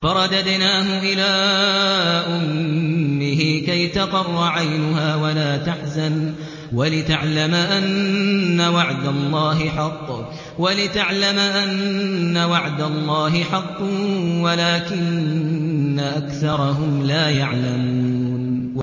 فَرَدَدْنَاهُ إِلَىٰ أُمِّهِ كَيْ تَقَرَّ عَيْنُهَا وَلَا تَحْزَنَ وَلِتَعْلَمَ أَنَّ وَعْدَ اللَّهِ حَقٌّ وَلَٰكِنَّ أَكْثَرَهُمْ لَا يَعْلَمُونَ